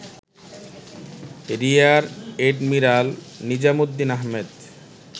রিয়ার admiral Nizamuddin Ahmed